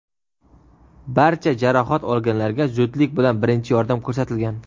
Barcha jarohat olganlarga zudlik bilan birinchi yordam ko‘rsatilgan.